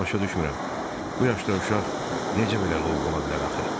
Başa düşmürəm, bu yaşda uşaq necə belə lovğa ola bilər axı?